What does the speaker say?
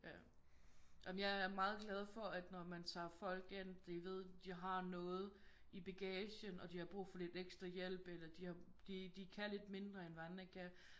Ja ej men jeg er meget glad for at når man tager folk ind de ved de har noget i baggagen og de har brug for lidt ekstra hjælp eller de har de de kan lidt mindre end hvad andre kan